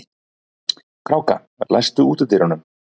Kráka, læstu útidyrunum.